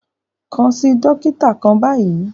Kàn sí dòkìtà kàn báyì!